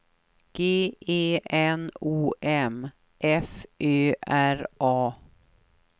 G E N O M F Ö R A